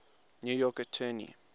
new york attorney